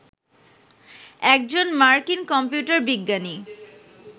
একজন মার্কিন কম্পিউটার বিজ্ঞানী